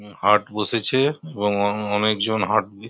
হম হাট বসেছে এবং অনে অনেকজন হাট দিয়ে--